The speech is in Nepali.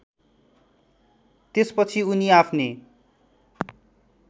त्यसपछि उनी आफ्नी